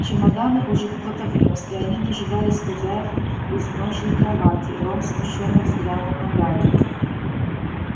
чемоданы уже кто-то внёс и они дожидались хозяев в изножье кроватей рон смущённо взглянул на гарри